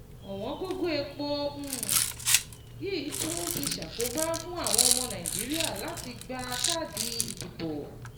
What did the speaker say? Ọ̀wọ́n gógó epo um yìí tún ti ṣàkóbá fún àwọn ọmọ Nàìjíríà láti gba káàdì ìdìbò.